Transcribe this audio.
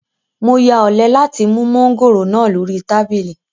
Mo ya ọ̀lẹ láti mú mọ́ngòrònáà lórí tábìlì